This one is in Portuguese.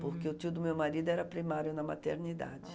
Porque o tio do meu marido era primário na maternidade.